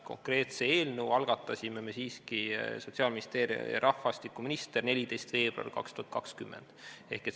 Konkreetse eelnõu algatasid Sotsiaalministeerium ja rahvastikuminister 14. veebruaril 2020.